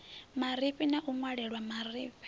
marifhi na u ṅwalelwa vhurufhi